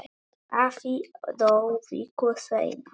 Afi dó viku seinna.